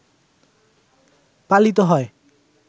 পালিত হয়